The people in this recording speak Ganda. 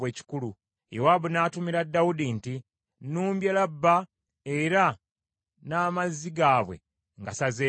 Yowaabu n’atumira Dawudi nti, “Nnumbye Labba, era n’amazzi gaabwe ngasazeeko.